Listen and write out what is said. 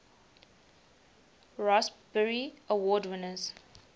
raspberry award winners